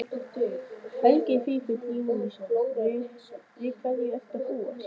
Helgi Vífill Júlíusson: Við hverju ertu að búast?